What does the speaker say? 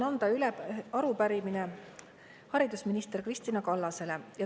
Minul on üle anda arupärimine haridusminister Kristina Kallasele.